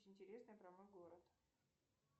интересной про мойгород